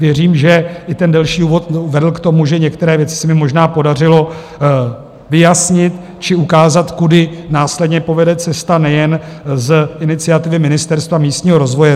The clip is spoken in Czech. Věřím, že i ten delší úvod vedl k tomu, že některé věci se mi možná podařilo vyjasnit či ukázat, kudy následně povede cesta nejen z iniciativy ministerstva místního rozvoje.